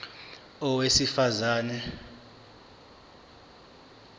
a owesifaz ane